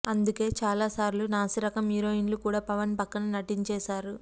అందుకే చాలా సార్లు నాసి రకం హీరోయిన్లు కూడా పవన్ పక్కన నటించేసారు